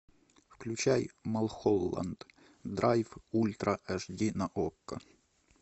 включай малхолланд драйв ультра аш ди на окко